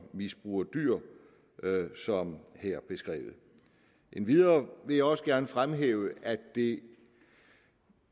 misbruger dyr som her beskrevet endvidere vil jeg også gerne fremhæve at det